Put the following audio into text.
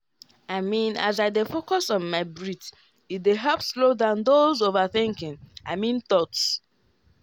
i mean as i dey focus on my breath e dey help slow down those overthinking i mean thoughts.